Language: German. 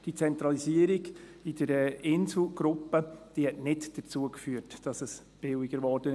Diese Zentralisierung in der Inselgruppe führte nicht dazu, dass es billiger wurde.